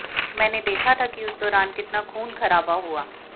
मैंने देखा था कि उस दौरान कितना खूनखराबा हुआ